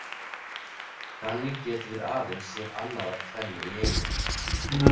Þannig getum við aðeins séð annað af tvennu í einu.